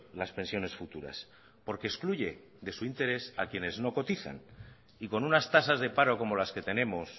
las pensiones futuras porque excluye de su interés a quienes no cotizan y con unas tasas de paro como las que tenemos